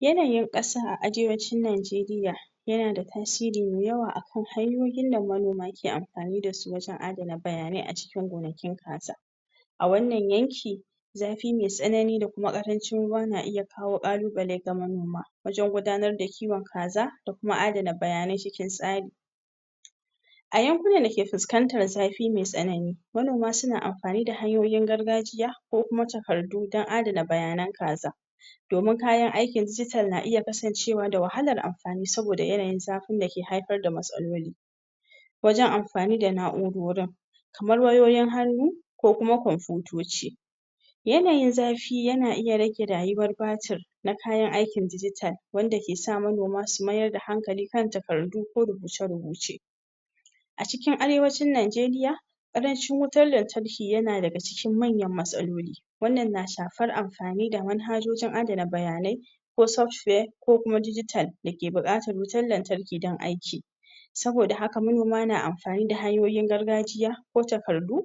Yanayin ƙasa a Arewacin Najeriya yana da tasiri mai yawa a kan hanyoyin da manoma ke amfani da su wajen adana bayanai a cikin gonakin kaza. A wannan yanki zafi mai tsanani da kuma ƙarancin ruwa na iya kawo ƙalubale ga manoma wajen gudanar da kiwon kaza ko kuma adana bayanai cikin tsari. A tyankunan da ke fuskantar zafi mai tsanani manoma suna amfani da hanyoyin gargajiya ko kuma takardu domin adana bayanan kaza. Domin kayan aikin digital na iya kasancewa da wahalar amfani saboda yanayin zafin da ke haifar da matsaloli wajen amfani da na'urorin wayoyin hannu ko kuma kwamfiyutoci. Yanayin zafi yana iya rage rayuwar batir na kayan aikin digital wanda ke sa manoma su mayar da hankali kan takardu ko rubuce-rubuce. A cikin arewacin Najeria ƙarancin wutar lantarki yana daga cikin manyan matsaloli wannan na shafar amfani da manhajojin adana bayanai ko software ko kuma digital da ke buƙatar wutar lantarki don aiki. Saboda haka manoma na amfani da hanyoyin gargajiya ko takardu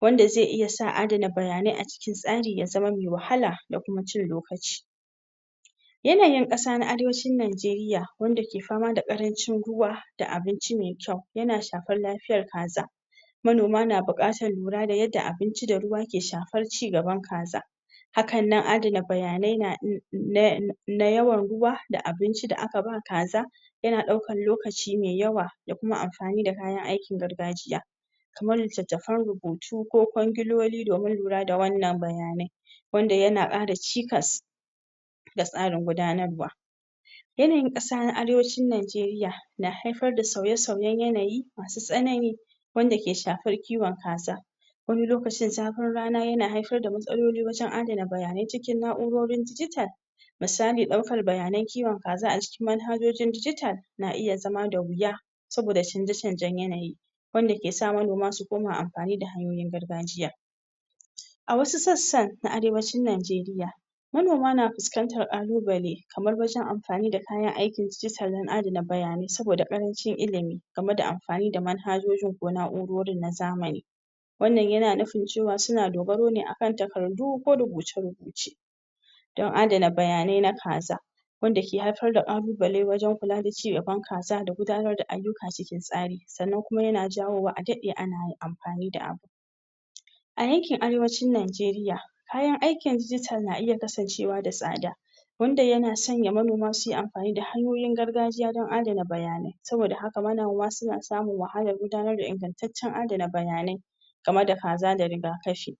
wanda zai iya sa adana bayanai a cikin tsari ya zama mai wahala da kuma cin lokaci Yanayin ƙasa na Arewacin Najeriya wanda ke fama da ƙarancin ruwa da abinci mai kyau yana shafar lafiyar kaza Manoma na buƙatar lura da yadda abinci da ruwa ke shafar ci gaban kaza hakan nan adana bayanai na na yawan ruwa da abinci da aka ba kaza yana ɗaukar lokaci mai yawa da kuma amfani da kayan aikin gargajiya kamar littattafan rubutu ko kwangiloli domin lura da wannan bayanai. wanda yana ƙara cikas da tsarin gudanarwa yanayin ƙasa na Arewacin Najeriya na haifar da sauye-sauyen yanayi masu tsanani, wanda ke shafar kiwon kaza wani lokacin zafin rana yana haifar da matsaloli wajen adana bayanai cikin na'urorin digital misali ɗaukar bayanan kiwon kaza a cikin na'urorin digital na iya zama da wuya saboda canje-canjen yanayi wanda ke sa manoma su koma amfani da hanyoyin gargajiya a wasu sassa na Arewacin Najeriya, manoma na fuskantar ƙalubale kamar wajen amfani da kayan aikin digital don adana bayanai saboda ƙarancin ilimi game da amfani da manhajojin ko na'urorin na zamani wannan yana nufin cewa suna dogaro ne akan takardu ko rubuce-rubuce don dana bayanai na kaza. wanda ke haifar da ƙalubale wajen kula da ci gaban kaza da gudanar da ayyuka cikin tsari sannan yana jawowa a daɗe ana amfani da abu. A yankin Arewacin Najeriya kayan aikin digital na iya kasancewa da tsada wanda yana sanya manoma su yi amfani da hanyoyin gargajiya don adana bayanai saboda da haka manoma suna samun wahalar gudanar da ingantaccen adana bayanai game da kaza da riga kafi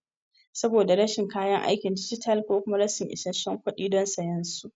saboda rashin kayan aikin digital ko kuma rashin isassun kuɗi don siyan su.